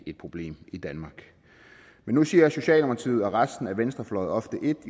et problem i danmark nu siger socialdemokratiet og resten af venstrefløjen ofte et